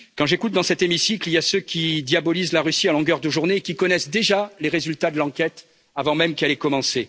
Quand j'écoute, dans cet hémicycle, certains diabolisent la Russie à longueur de journée et connaissent déjà les résultats de l'enquête avant même qu'elle n'ait commencé.